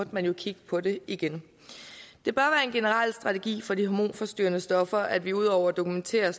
man jo kigge på det igen det bør være en generel strategi for de hormonforstyrrende stoffer at vi ud over at dokumentere